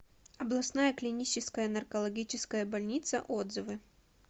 областная клиническая наркологическая больница отзывы